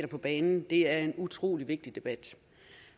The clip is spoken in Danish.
på banen det er en utrolig vigtig debat